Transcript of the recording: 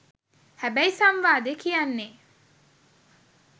හැබැයි සංවාදේ කියන්නේ